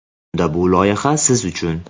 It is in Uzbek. Unda bu loyiha siz uchun.